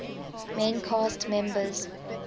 main cast members